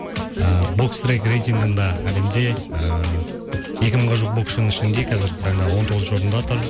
ыыы боксрек рейтингінда әлемде ыыы екі мыңға жуық боксшының ішінде қазіргі таңда он тоғызыншы орында тұр